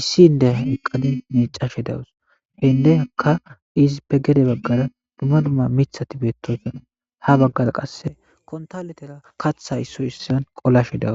issi indeha eqqadin neecashe dawus hendeyakka izi pe gede baggara duma dumma mithati beettoyfena ha baggara qasse kontaletera katha issoy issan qolashe dawus